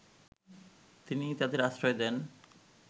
তিনিই তাদের আশ্রয় দেন